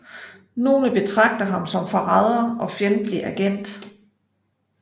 Nogle betragter ham som forræder og fjendtlig agent